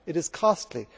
It is costly.